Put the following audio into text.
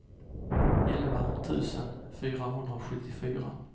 elva tusen fyrahundrasjuttiofyra